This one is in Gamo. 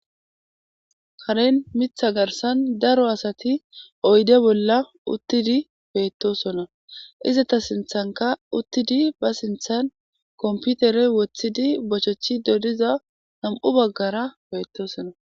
Karen miththa garssan daro asati oyde bollan uttidi beettosona. Izeta sinththankka uttidi ba sinththan kompiteere woththidi bochechchido diza nami'u baggara beettosona.